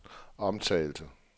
omtalte